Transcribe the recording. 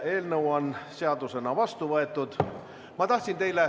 Eelnõu on seadusena vastu võetud.